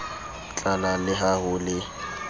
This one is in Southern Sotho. tlalang le ha ho le